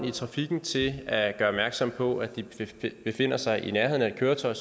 i trafikken til at gøre opmærksom på at de befinder sig i nærheden af et køretøj